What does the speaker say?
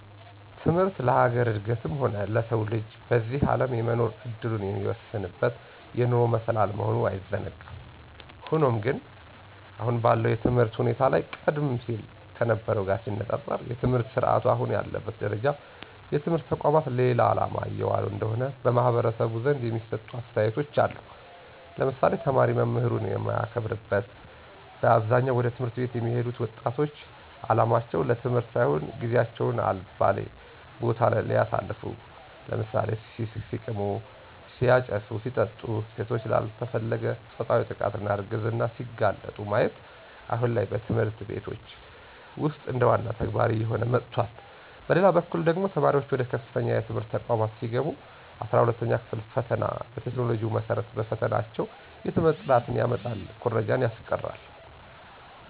ትምህርት ለሀገር እድገትም ሆነ ለሰው ልጅ በዚህ አለም የመኖር እድሉን የሚወስንበት የኑሮ መሰላል መሆኑ አይዘነጋም። ሆኖም ግን አሁን ባለው የትምህርት ሁኔታ ላይ ቀደም ሲል ከነበርው ጋር ሲነፃፀር የትምህርት ስረአቱ አሁን ያለበት ደረጃ የትምህርት ተቋማት ለሌላ አላማ እየዋሉ እንደሆነ በማህበረሰቡ ዘንድ የሚሰጡ አስተያየቶች አሉ ለምሳሌ፦ ተማሪ መምህሩን የማያከብርበት በአብዛኛው ወደ ት/ቤት የሚሄዱት ወጣቶች አላማቸው ለትምህርት ሳይሆን ጊዚየቸውን አልባሌ ቦታለይ ሲያሳልፉ(ሲቅሙ፣ ሲያጨሱ፣ ሲጠጡ ሴቶች ላልተፈለገ ፆታዊ ጥቃትና እርግዝና ሲጋለጡ)ማየት አሁን ላይ በትምህርት ቤቶች ውስጥ እንደዋና ተግባር እየሆነ መጥቷል። በሌላበኩል ደግሞ ተማሪዋች ወደ ከፍተኛ የትምህርት ተቋማት ሲገቡ 12ኛ ክፍል ፈተና በቴክኖሎጂው መሰረት መፈተናቸው የትምህርት ጥራትን ያመጣል ኩረጃን ያስቀራል።